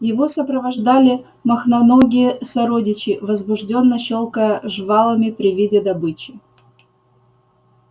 его сопровождали мохноногие сородичи возбуждённо щёлкая жвалами при виде добычи